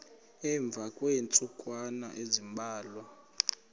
emva kweentsukwana ezimbalwa